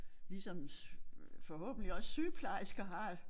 Ligesom forhåbentlig også sygeplejersker har